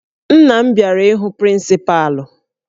Nna m bịara ịhụ prịncịpalụ